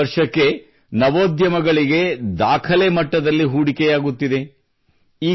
ವರ್ಷದಿಂದ ವರ್ಷಕ್ಕೆ ನವೋದ್ಯಮಗಳಿಗೆ ದಾಖಲೆ ಮಟ್ಟದಲ್ಲಿ ಹೂಡಿಕೆಯಾಗುತ್ತಿದೆ